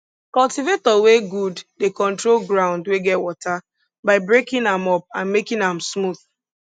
cultivator wey good dey control ground wey get water by breaking am up and making am smooth